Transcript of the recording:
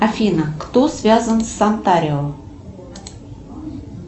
афина кто связан с антарио